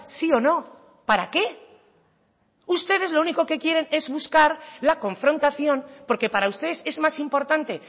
sí o no para qué ustedes lo único que quieren es buscar la confrontación porque para ustedes es más importante